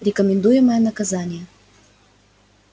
рекомендуемое наказание